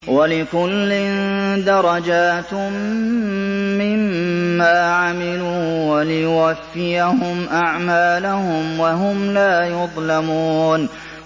وَلِكُلٍّ دَرَجَاتٌ مِّمَّا عَمِلُوا ۖ وَلِيُوَفِّيَهُمْ أَعْمَالَهُمْ وَهُمْ لَا يُظْلَمُونَ